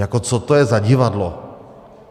Jako co to je za divadlo?